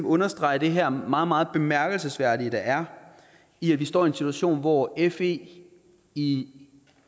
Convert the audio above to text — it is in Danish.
understrege det her meget meget bemærkelsesværdige der er i at vi står i en situation hvor fe i